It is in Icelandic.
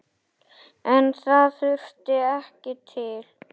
En það þurfti ekki til.